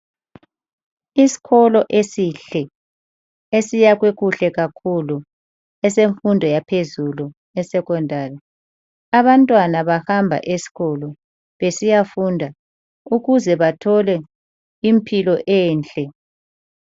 Isikolo esihle esiyakhwe kuhle kakhulu esemfundo yaphezulu esecondary. Abantwana bahamba esikolo besiyafunda ukuze bathole impilo enhle.